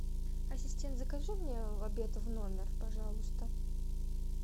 ассистент закажи мне обед в номер пожалуйста